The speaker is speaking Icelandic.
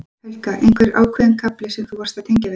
Helga: Einhver ákveðinn kafli sem þú varst að tengja við?